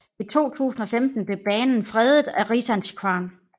I 2015 blev banen fredet af Riksantikvaren